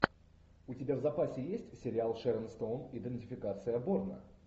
у тебя в запасе есть сериал шерон стоун идентификация борна